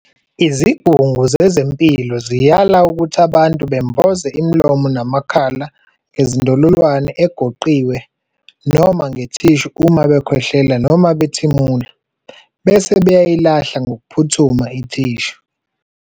Izigungu zezempilo ziyala ukuthi abantu bemboze imilomo namakhala ngezindololwane egoqiwe noma ngethishu uma bekhwehlela noma bethimula, bese beyayilahla ngokuphuthuma ithishu.